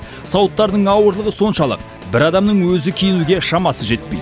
сауыттарының ауырлығы соншалық бір адамның өзі киінуге шамасы жетпейді